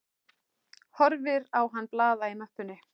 Horfir á hann blaða í möppunni.